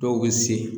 Dɔw bɛ se